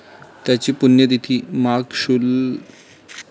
त्यांची पुण्यतिथी माघ शु.